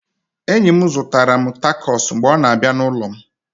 Enyi m zụtara m tacos mgbe ọ na-abịa n'ụlọ m